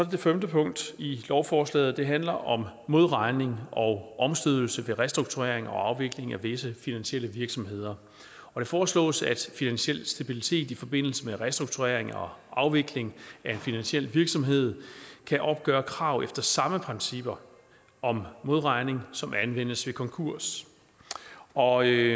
det femte punkt i lovforslaget og det handler om modregning og omstødelse ved restrukturering og afvikling af visse finansielle virksomheder det foreslås at finansiel stabilitet as i forbindelse med restrukturering og afvikling af en finansiel virksomhed kan opgøre krav efter samme principper om modregning som anvendes ved konkurs og